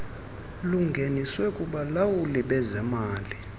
lungeniswe kubalawuli bezemali